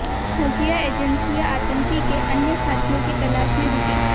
खुफिया एजेंसियां आतंकी के के अन्य साथियों की तलाश में जुटी